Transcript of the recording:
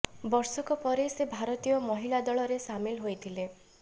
ବର୍ଷକ ପରେ ସେ ଭାରତୀୟ ମହିଳା ଦଳରେ ସାମିଲ ହୋଇଥିଲେ